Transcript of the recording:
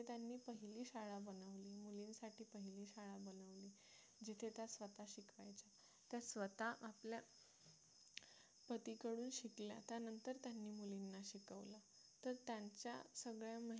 त्या स्वतः आपल्या पतीकडून शिकल्या त्यानंतर त्यांनी मुलींना शिकवलं तर त्यांच्या सगळ्या मेहनत